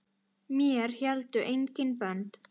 Mér héldu engin bönd.